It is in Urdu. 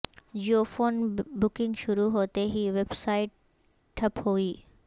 جیو فون بکنگ شروع ہوتے ہی ویب سائٹ ٹھپ ہوئی